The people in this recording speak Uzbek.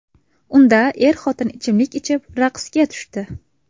Unda er-xotin ichimlik ichib, raqsga tushdi.